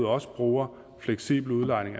også bruger fleksibel udlejning